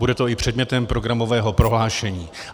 Bude to i předmětem programového prohlášení.